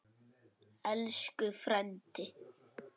Elsku frændi.